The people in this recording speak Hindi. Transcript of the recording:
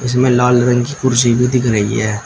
इसमें लाल रंग की कुर्सी भी दिख रही है।